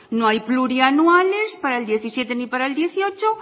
no hay plurianuales para el dos mil diecisiete ni para el dos mil dieciocho